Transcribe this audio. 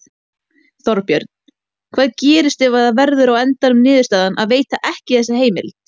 Þorbjörn: Hvað gerist ef að það verður á endanum niðurstaðan að veita ekki þessa heimild?